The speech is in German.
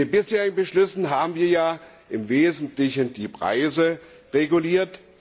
In den bisherigen Beschlüssen haben wir ja im Wesentlichen die Preise reguliert.